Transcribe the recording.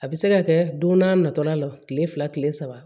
A bɛ se ka kɛ don n'a nata la tile fila tile saba